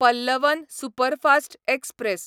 Pallavan superfast express